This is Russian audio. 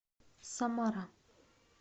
самара